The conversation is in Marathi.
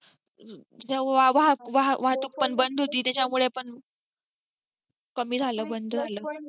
तेव्हा वाहतूक पण बंद होती त्याच्यामुळे पण कमी झालं बंद झालं.